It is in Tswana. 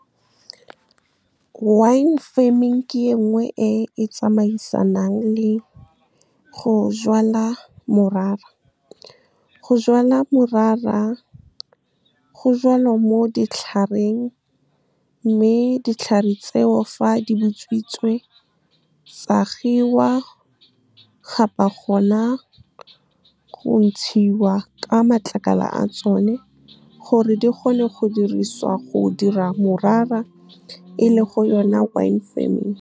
Wine farming ke e nngwe e e tsamaisanang le go jwala morara, go jwala morara go jalwa mo ditlhareng, mme ditlhare tseo fa di butswitse tsa kgiwa gona go ntshiwa ka matlakala a tsone, gore di gone go dirisiwa go dira morara, e le go yona wine farming. Wine farming ke e nngwe e e tsamaisanang le go jwala morara, go jwala morara go jalwa mo ditlhareng, mme ditlhare tseo fa di butswitse tsa kgiwa gona go ntshiwa ka matlakala a tsone, gore di gone go dirisiwa go dira morara, e le go yona wine farming.